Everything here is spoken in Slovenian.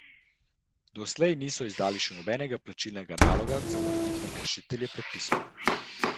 Doslej niso izdali še nobenega plačilnega naloga za morebitne kršitelje predpisov.